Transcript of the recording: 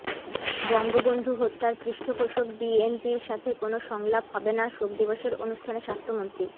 বঙ্গবন্ধু হত্যার পৃষ্ঠপোষক বিএনপির সাথে কোনো সংলাপ হবে না শোক দিবসের অনুষ্ঠানে স্বাস্থ্যমন্ত্রী